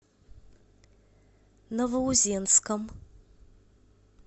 новоузенском